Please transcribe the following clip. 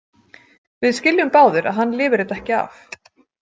Við skiljum báðir að hann lifir þetta ekki af.